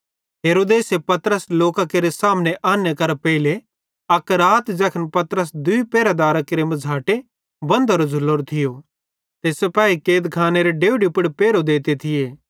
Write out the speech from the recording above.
हेरोदेसे पतरस लोकां केरे सामने आने करां पेइले अक रात ज़ैखन पतरस दूई पहरेदारां केरे मझ़ाटे बंधोरो झ़ुलोरो थियो ते सिपाही कैदखानेरे डेवढी पुड़ पैरहो देंते थिये